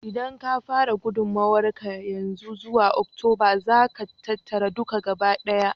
Idan ka fara gudummawar ka yanzu, zuwa Oktoba za ka tattara duka gabaɗaya.